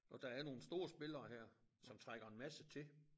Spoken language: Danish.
Og der er nogle store spillere her som trækker en masse til